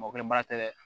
Mɔkɛ ba tɛ dɛ